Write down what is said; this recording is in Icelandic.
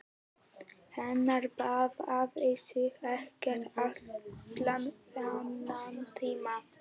Hann baðaði sig ekkert allan þennan tíma.